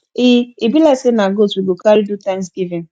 e e be like say na goat we go carry do thanksgiving